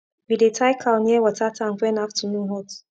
we dey tie cow near water tank when afternoon hot